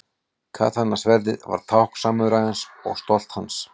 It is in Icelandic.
Katana-sverðið var tákn samúræjans og stolt hans.